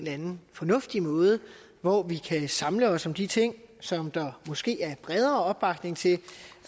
anden fornuftig måde hvor vi kan samle os om de ting som der måske er bredere opbakning til